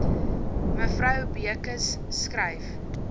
mevrou beukes skryf